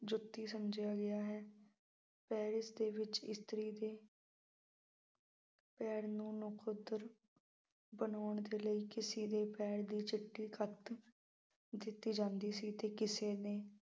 ਜੁੱਤੀ ਸਮਝਿਆ ਗਿਆ ਹੈ। ਪੈਰ ਇਸਦੇ ਵਿੱਚ ਇਸਤਰੀ ਦੀ ਪੈਰ ਨੂੰ ਨਖੁੱਦਰ ਬਣਾਉਣ ਦੇ ਲਈ ਕਿਸੇ ਦੀ ਪੈਰ ਦੀ ਜੁੱਤੀ ਦਿੱਤੀ ਜਾਂਦੀ ਸੀ ਅਤੇ ਕਿਸੇ ਨੇ